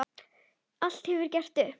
Allt hefur verið gert upp.